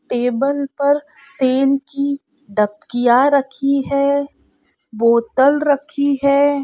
Table पर तेल की दबकिया रखी है बोतल रखी है।